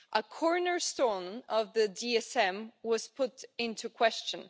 a cornerstone of the DSM was put into question.